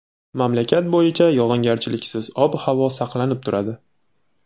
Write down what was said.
Mamlakat bo‘yicha yog‘ingarchiliksiz ob-havo saqlanib turadi.